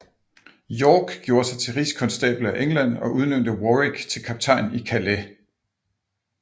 York gjorde sig til Rigskonstabel af England og udnævnte Warwick til kaptajn i Calais